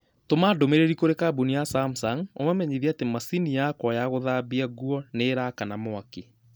Tũma ndũmĩrĩri kũrĩ kambũni ya Samsung ũmamenyithie atĩ macini yakwa ya gũthambia nguo nĩ ĩrakana mwaki